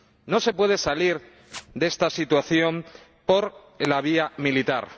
No se puede salir de esta situación por la vía militar.